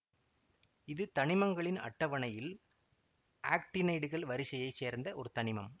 இது தனிமங்களின் அட்டவனையில் ஆக்ட்டினைடுகள் வரிசையைச் சேர்ந்த ஒரு தனிமம்